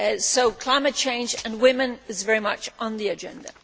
So climate change and women is very much on the agenda.